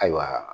Ayiwa